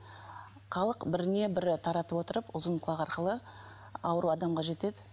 халық біріне бірі таратып отырып ұзынқұлақ арқылы ауру адамға жетеді